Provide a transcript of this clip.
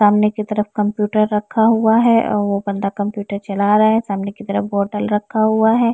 सामने की तरफ कंप्यूटर रखा हुआ है और वो बंदा कंप्यूटर चला रहा है। सामने की तरफ बोतल रखा हुआ है।